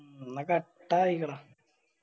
ഉം എന്ന കട്ടായിക്കള